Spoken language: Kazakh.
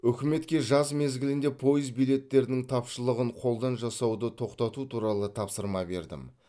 үкіметке жаз мезгілінде пойыз билеттерінің тапшылығын қолдан жасауды тоқтату туралы тапсырма бердім